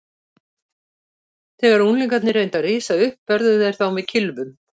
Þegar unglingarnir reyndu að rísa upp börðu þeir þá með kylfunum.